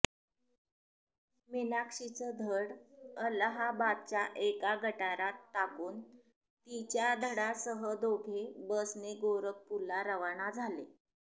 मिनाक्षीचं धड अलाहबादच्या एका गटारात टाकून तिच्या धडासह दोघे बसने गोरखपूरला रवाना झाले